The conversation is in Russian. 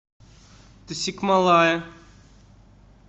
тасикмалая